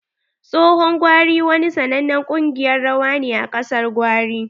Tsohon gwari wani sanannen kungiƴar rawa ne a ƙasar gwari.